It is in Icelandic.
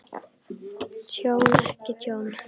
Tjón og ekki tjón?